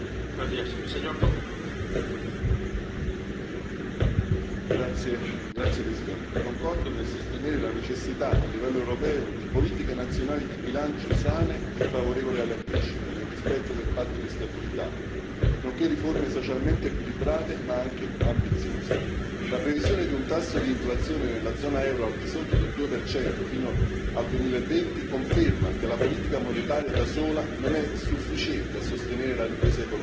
Signor Presidente, onorevoli colleghi, concordo nel sostenere la necessità a livello europeo di politiche nazionali di bilancio sane e favorevoli alla crescita, nel rispetto del Patto di stabilità, nonché riforme socialmente equilibrate ma anche ambiziose. La previsione di un tasso di inflazione nella zona euro al di sotto del 2 fino al 2020 conferma che la politica monetaria, da sola, non è sufficiente a sostenere la ripresa economica.